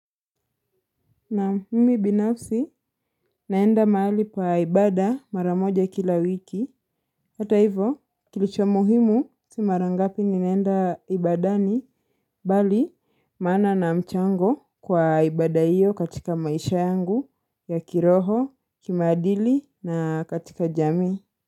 Naam mimi binafsi naenda mahali kwa ibada mara moja kila wiki. Hata hivo kilicho muhimu si mara ngapi ninaenda ibadani bali maana na mchango kwa ibada hiyo katika maisha yangu ya kiroho, kimaadili na katika jamii.